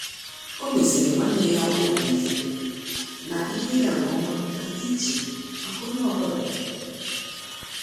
Ọ́ mèsị̀rị̀ nwanne ya obi ike na ihe ịga nke ọma nà-ádị́ iche màkà onye ọ bụla.